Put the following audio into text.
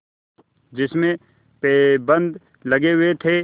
जिसमें पैबंद लगे हुए थे